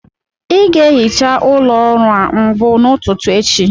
Ị ga-ehicha ụlọ ọrụ a mbụ n'ụtụtụ echi